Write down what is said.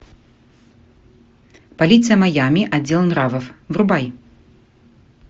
полиция майами отдел нравов врубай